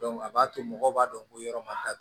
a b'a to mɔgɔw b'a dɔn ko yɔrɔ ma datugu